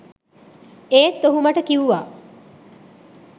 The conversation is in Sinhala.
ඒත් ඔහු මට කිව්වා